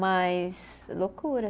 Mas. Loucura.